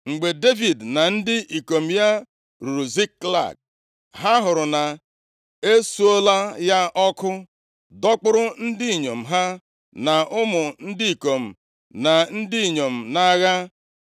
Mgbe Devid na ndị ikom ya ruru Ziklag, ha hụrụ na-esuola ya ọkụ, dọkpụrụ ndị inyom ha, na ụmụ ndị ikom na ndị inyom nʼagha.